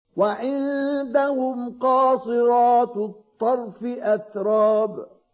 ۞ وَعِندَهُمْ قَاصِرَاتُ الطَّرْفِ أَتْرَابٌ